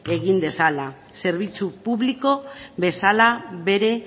egin dezala zerbitzu publiko bezala bere